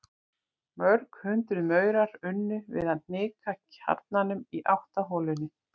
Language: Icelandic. Mörg hundruð maurar unnu við að hnika kjarnanum í átt að holunni.